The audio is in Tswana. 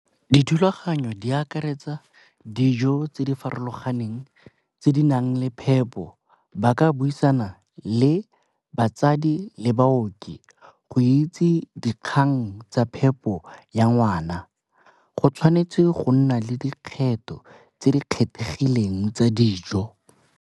Dithulaganyo di akaretsa dijo tse di farologaneng tse di nang le phepo ba ka buisana le batsadi le baoki go itse dikgang tsa phepo ya ngwana. Go tshwanetse go nna le dikgetho tse di kgethegileng tsa dijo.